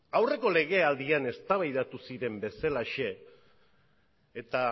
aurreko legealdian eztabaidatu ziren bezalaxe eta